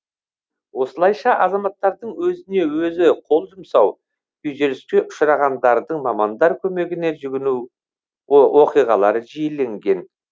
осылайша азаматтардың өзіне өзі қол жұмсау күйзеліске ұшырағандардың мамандар көмегіне жүгіну оқиғалары жиіленген